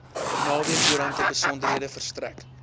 naweekkoerante besonderhede verstrek